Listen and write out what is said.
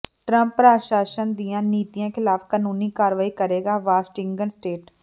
Trump ਪ੍ਰਸ਼ਾਸਨ ਦੀਆਂ ਨੀਤੀਆਂ ਖਿਲਾਫ ਕਾਨੂੰਨੀ ਕਾਰਵਾਈ ਕਰੇਗਾ ਵਾਸ਼ਿੰਗਟਨ ਸਟੇਟ